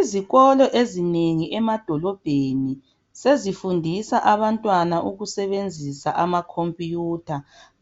Isikolo ezinengi emadolobheni sezifundisa abantwana ukusebenzisa amakhompiyutha